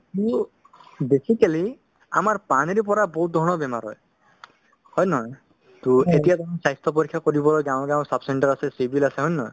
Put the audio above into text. basically আমাৰ পানীৰ পৰা বহুত ধৰণৰ বেমাৰ হয় হয় নে নহয় to এতিয়া তুমি স্বাস্থ্য পৰীক্ষা কৰিব যাওঁ যাওঁ sub-centre আছে civil আছে হয় নে নহয়